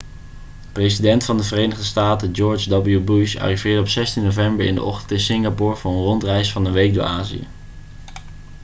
president van de verenigde staten george w bush arriveerde op 16 november in de ochtend in singapore voor een rondreis van een week door azië